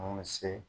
An bɛ se